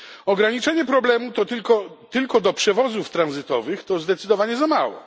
Ograniczenie problemu tylko do przewozów tranzytowych to zdecydowanie za mało.